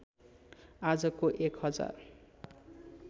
आजको एक हजार